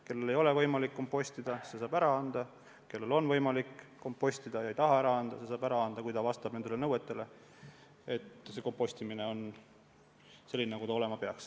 Kellel ei ole võimalik kompostida, see saab ära anda, kellel on võimalik kompostida ja ei taha ära anda, see saab seda teha, kui kompostimine on selline, nagu ta olema peaks.